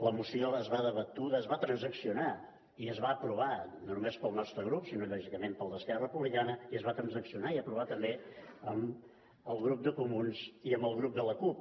la moció debatuda es va transaccionar i es va aprovar no només pel nostre grup sinó lògicament pel d’esquerra republicana i es va transaccionar i aprovar també amb el grup de comuns i amb el grup de la cup